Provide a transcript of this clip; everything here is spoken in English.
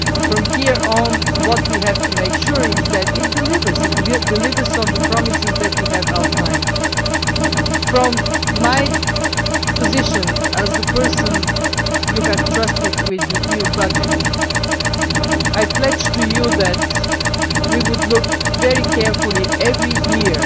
From here on, we have to make sure that it delivers on the promises that we have outlined. From my position, as the person you have trusted with the EU budget, I pledged to you that we would look very carefully every year